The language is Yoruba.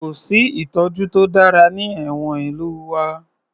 Kò sí ìtọ́jú to dára ní ẹ̀wọ̀n ìlú wa